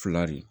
Fila de